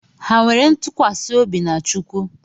Ha nwere ntụkwasị obi na Chukwu?